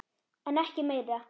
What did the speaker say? En ekki meira.